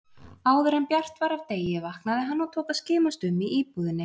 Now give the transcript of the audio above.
Áðuren bjart var af degi vaknaði hann og tók að skimast um í íbúðinni.